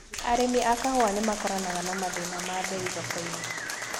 Arĩmi a kahũa nĩmakoranaga na mathĩna ma mbei thokoinĩ.